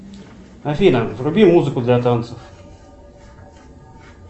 афина вруби музыку для танцев